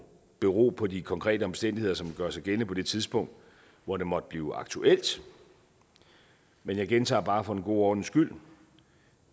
bero på de konkrete omstændigheder som gør sig gældende på det tidspunkt hvor det måtte blive aktuelt men jeg gentager bare for en god ordens skyld